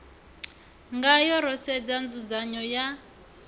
ngayo ro sedza nzudzanyo ya